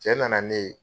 Cɛ nana ne ye